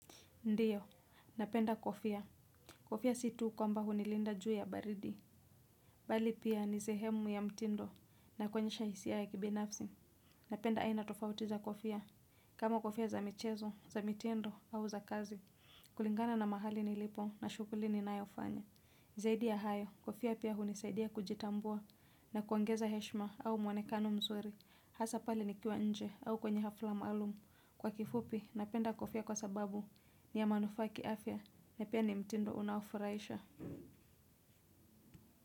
Ndio, napenda kofia. Kofia si tu kwamba hunilinda juu ya baridi. Bali pia ni sehemu ya mtindo na kuonyesha hisia ya kibinafsi. Napenda aina tofauti za kofia. Kama kofia za michezo, za mitindo au za kazi. Kulingana na mahali nilipo, na shughuli ninayofanya. Zaidi ya hayo, kofia pia hunisaidia kujitambua na kuongeza heshma au mwonekano mzuri. Hasa pale nikiwa nje au kwenye hafla maalum. Kwa kifupi napenda kofia kwa sababu ni ya manufaa ya kiafya na pia ni mtindo unaofurahisha.